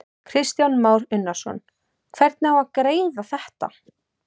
Kristján Már Unnarsson: Hvernig á að greiða þetta?